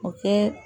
O kɛ